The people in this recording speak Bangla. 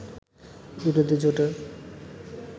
বিরোধী জোটের